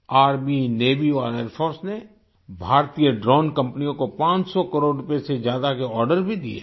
army navy और air force ने भारतीय ड्रोन कंपनियों को 500 करोड़ रुपये से ज्यादा के आर्डर भी दिए हैं